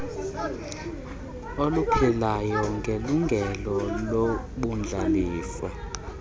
oluphilayo ngelungelo lobundlalifa